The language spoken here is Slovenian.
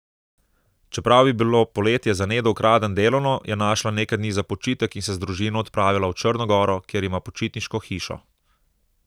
Čeprav je bilo poletje za Nedo Ukraden delovno, je našla nekaj dni za počitek in se z družino odpravila v Črno goro, kjer ima počitniško hišo.